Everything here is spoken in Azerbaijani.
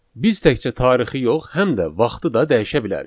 Biz təkcə tarixi yox, həm də vaxtı da dəyişə bilərik.